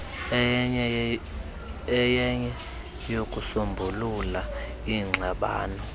eyenye yokusombulula ingxabano